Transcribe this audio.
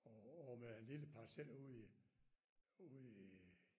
Og og med en lille parcel ude i ude i øh